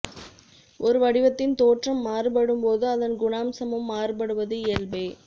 ஒரு வடிவத்தின் தோற்றம் மாறுபடும்போது அதன் குணாம்சமும் மாறுபடுவது இயல்பே